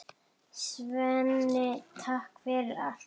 Svenni, takk fyrir allt.